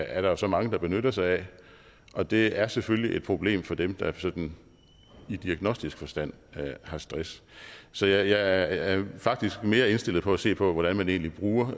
er der jo så mange der benytter sig af og det er selvfølgelig et problem for dem der sådan i diagnostisk forstand har stress så jeg er faktisk mere indstillet på at se på hvordan man egentlig bruger